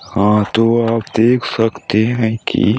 हाँ तो आप देख सकते है की--